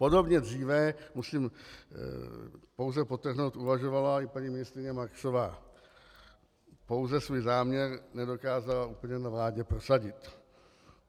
Podobně dříve, musím pouze podtrhnout, uvažovala i paní ministryně Marksová, pouze svůj záměr nedokázala úplně na vládě prosadit.